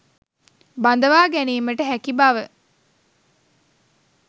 බඳවා ගැනීමට හැකි බව